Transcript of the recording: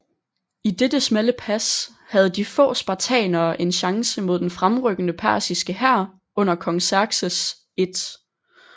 I dette smalle pas havde de få spartanere en chance mod den fremrykkende persiske hær under kong Xerxes 1